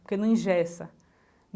Porque não ingessa.